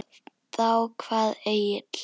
Þá kvað Egill